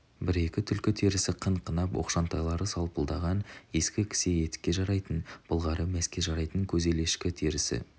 бір-екі түлкі терісі қын-қынап оқшантайлары салпылдаған ескі кісе етікке жарайтын былғары мәске жарайтын көзелешкі терісі